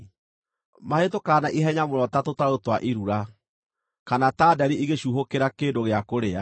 Mahĩtũkaga na ihenya mũno ta tũtarũ twa irura, kana ta nderi igũcuuhũkĩra kĩndũ gĩa kũrĩa.